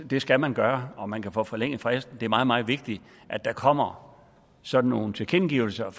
det skal man gøre og man kan få forlænget fristen det er meget meget vigtigt at der kommer sådan nogle tilkendegivelser